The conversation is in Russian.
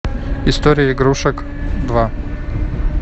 история игрушек два